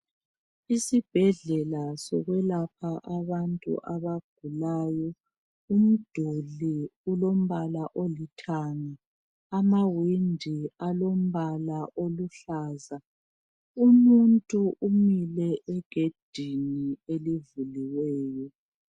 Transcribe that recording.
Isibhedlela sokulapha abantu abagulayo, umduli ulombala olithanga, amawindi alombala oluhlaza. Umuntu umile egedini elivuliweyo.